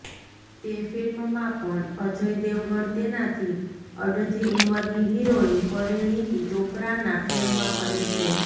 તે ફિલ્મમાં પણ અજય દેવગણ તેનાથી અડધી ઉંમરની હિરોઈન પરિણીતી ચોપરાના પ્રેમમાં પડે છે